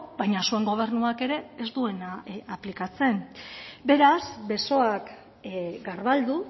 baina zuen gobernuak ere ez duena aplikatzen beraz besoak garbaldu